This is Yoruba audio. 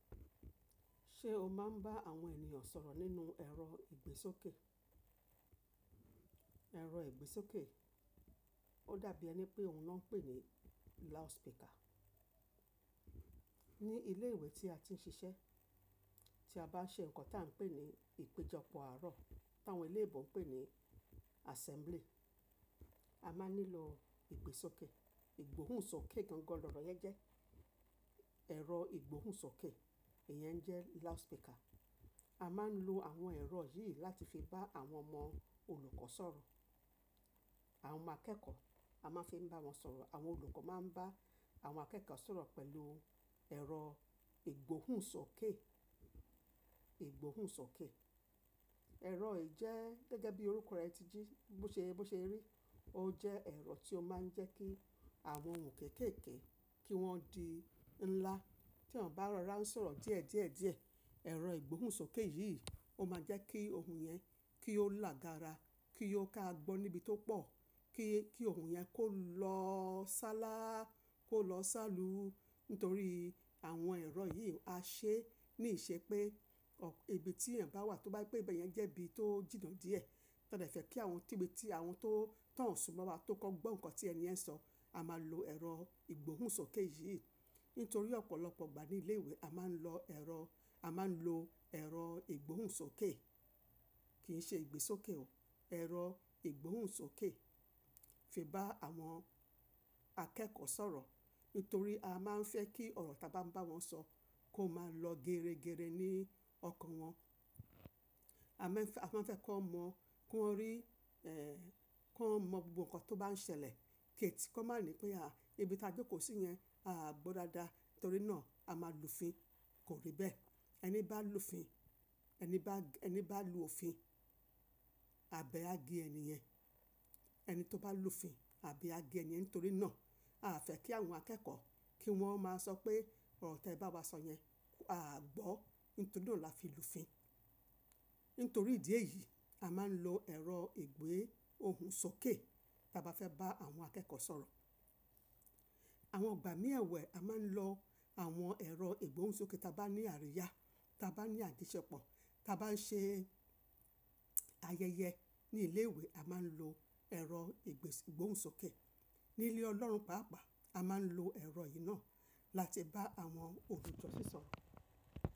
Ṣe o maa n ba àwọn ènìyàn sọ̀rọ̀ nínú ẹ̀rọ ìgbésókè? Ẹ̀rọ ìgbésókè, o dàbí ẹni pé òhun náà n pè ni loudspeaker. Ni ilé ìwé tí a ti ń ṣiṣẹ́ tí a bá ṣe nǹkan tí à ń pè ní ìpéjọpọ̀ àárọ̀, tí àwọn eléèbò ń pè ní assembly, a máa nílò ìgbésókè. Ìgbóhùnsókè gangan lọ̀rọ̀ yẹn jẹ́. Ẹ̀rọ Ìgbóhùnsókè, èyẹn jẹ́ loudspeaker. A máa ń lo àwọn ẹ̀rọ yìí láti fi bá àwọn ọmọ olùkọ́ sọ̀rọ̀. Àwọn ọmọ akẹ́kọ̀ọ́, a máa ń fi bá wọn sọ̀rọ̀. Àwọn olùkọ́ máa ń bá àwọn akẹ́kọ̀ọ́ sọ̀rọ̀ pẹ̀lú ẹ̀rọ Ìgbóhùnsókè, Ìgbóhùnsókè. Ẹ̀rọ yìí jẹ́ gẹ́gẹ́ bí orúkọ rẹ̀ ti jí, bó ṣe, bó ṣe rí, o jẹ́ ẹ̀rọ tí o máa ń jẹ́ kí àwọn ohùn kékèèké kí wọ́n di ńlá. Tí ẹyan bá rọra ń sọ̀rọ̀ díẹ̀ díẹ̀ díẹ̀, ẹ̀rọ Ìgbóhùnsókè yìí o máa jẹ́ kí ohùn yẹn kí ó lágaara, kí ó ká gbọ́ níbi tó pọ̀, kí, kí ohùn yẹn kó lọ sálá, kó lọ sálù. Nítorí àwọn ẹ̀rọ yìí á ṣe ní ìṣe pé,, ibi ti ẹyan bá wà tó bá je pe ibẹ̀ yẹn jẹ́ ibi tó jìnnà díẹ̀, ta de fẹ́ kí àwọn tíbi tí àwọn tó, tan o sún mọ́ wa tó kan gbọ́ nǹkan tí ẹni yẹn ń sọ, a máa lo ẹ̀rọ Ìgbóhùnsókè yìí. Nítorí ọ̀pọ̀lọpọ̀ ìgbà ní ilé ìwé a máa ń lọ ẹ̀rọ, a máa ń lo ẹ̀rọ Ìgbóhùnsókè, kì í ṣe ìgbésókè o, ẹ̀rọ Ìgbóhùnsókè fi bá àwọn akẹ́kọ̀ọ́ sọ̀rọ̀. Nítorí a máa ń fẹ́ kí ọ̀rọ̀ ta bá ń bá wọn sọ kó máa lọ geregere ní ọkàn wọn. A máa ń fẹ́, a máa ń fẹ́ kón mọ̀, ki won rí, eh, kon mọ gbogbo nǹkan tó bá ń ṣẹlẹ̀. Kó máa ní pé, à, ibi ta jókòó sí yẹn a à gbọ́ dáadáa. Nítorí náà a máa lù fin. Kò rí bẹ́ẹ̀. Ẹni bá lù fin, ẹni bá, ẹni bá lù òfin àbẹ́ á gé ẹni yẹn. Ẹni tó bá lù fin àbe á gé ẹni yẹn. Nítorí náà a a fẹ́ kí àwọn akẹ́kọ̀ọ́ kí wọ́n máa sọ pé ọ̀rọ̀ tẹ bá wa sọ yẹn a à gbọ́. Nítorí náà là fi lù fin. Nítorí ìdí èyí a máa ń lo ẹ̀rọ ìgbè ohùn sókè ta bá fẹ́ bá àwọn akẹ́kọ́ sọ̀rọ̀. Àwọn ìgbà mì ẹ́wẹ̀ẹ̀ a máa ń lọ àwọn ẹ̀rọ Ìgbóhùnsókè ta bá ní àríyá, ta bá ní àjoṣẹ́pọ̀, ta bá ń ṣe ayẹyẹ ní ilé ìwé, a máa ń lo ẹ̀rọ ìgbè, Ìgbóhùnsókè. Ní ilé ọlọ́run pàápàá a máa ń lo ẹ̀rọ yìí náà láti bá àwọn olùjọ́sìn sọ̀rọ̀.